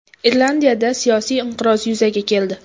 Irlandiyada siyosiy inqiroz yuzaga keldi.